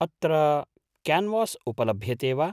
अत्र क्यान्वास् उपलभ्यते वा?